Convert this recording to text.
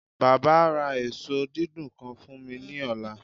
Baba a ra eso eso didun kan fun mi ni ọla